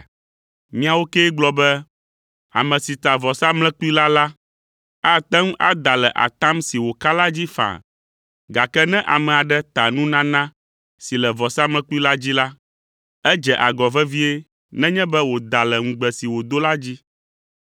Miawo kee gblɔ be, ‘Ame si ta vɔsamlekpui la la, ate ŋu ada le atam si wòka la dzi faa, gake ne ame aɖe ta nunana si le vɔsamlekpui la dzi la, edze agɔ vevie nenye be wòda le ŋugbe si wòdo la dzi.’